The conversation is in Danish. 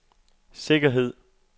sikkerhed